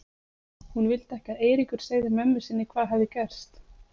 Hún vildi ekki að Eiríkur segði mömmu sinni hvað hafði gerst.